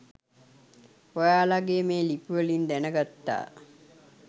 ඔයාලගේ මේ ලිපිවලින් දැනගත්තා.